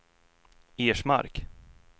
Ersmark